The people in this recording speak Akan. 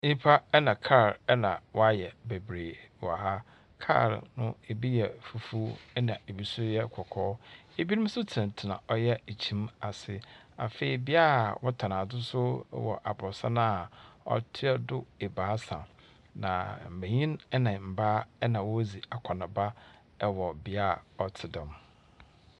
Nyimpa na kaar na wɔayɛ bebree wɔ ha, kaar no bi yɛ fufuw na bi so yɛ kɔkɔɔ. Binom so tsenatsena ɔyɛ kyim ase. Afei bea a wɔtɔn so wɔ aborɔsan a ɔtoa do ebiasa, na mbanyin na mbaa na wɔredzi akɔnaaba wɔ bea a ɔtse dɛm.